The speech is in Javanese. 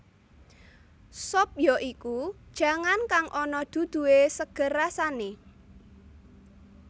Sop ya iku jangan kang ana duduhé seger rasané